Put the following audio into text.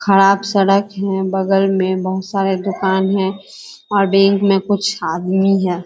खराब सड़क है बगल मे बहुत सारे दुकान हैं और बैंक मे कुछ आदमी है |